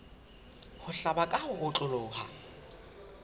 ho hlaba ka ho otloloha